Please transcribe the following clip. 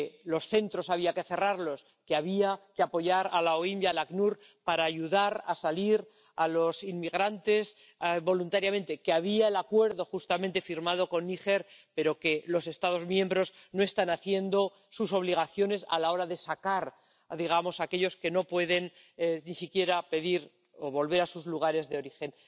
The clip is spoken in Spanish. los centros había que cerrarlos, que había que apoyar a la OIM y al ACNUR para ayudar a salir a los inmigrantes voluntariamente, que estaba el acuerdo firmado con Níger pero que los Estados miembros no están cumpliendo con sus obligaciones a la hora de sacar a aquellos que no pueden ni siquiera pedir volver a sus lugares de origen.